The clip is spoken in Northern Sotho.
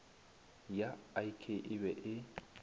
ya ik e be e